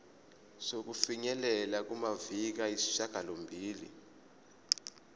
sokufinyelela kumaviki ayisishagalombili